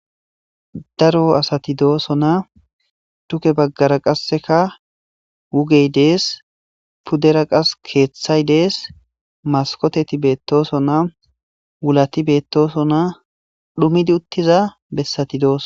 Daro asati dooson na tuke baggara qasseka wugey dees puddera qas keeththay dees maskoteti beettooson na wulati beettosonna dhumidi uttiza bessati dooso.